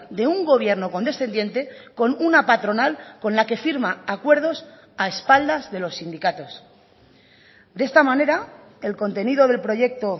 de un gobierno condescendiente con una patronal con la que firma acuerdos a espaldas de los sindicatos de esta manera el contenido del proyecto